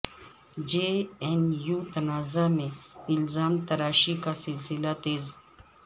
جے N U تنازع میں الزام تراشی کا سلسلہ تیز